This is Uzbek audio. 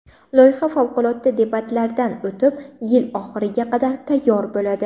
Loyiha favqulodda debatlardan o‘tib, yil oxiriga qadar tayyor bo‘ladi.